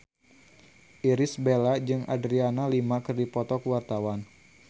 Irish Bella jeung Adriana Lima keur dipoto ku wartawan